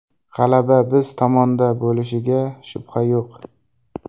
G‘alaba biz tomonda bo‘lishiga shubha yo‘q.